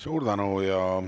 Suur tänu!